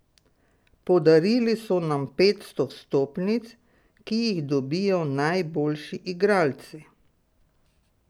Podarili so nam petsto vstopnic, ki jih dobijo najboljši igralci.